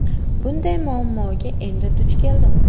Bunday muammoga endi duch keldim.